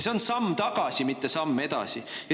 See on samm tagasi, mitte samm edasi.